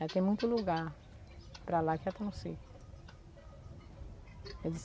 Já tem muito lugar para lá que já está no seco.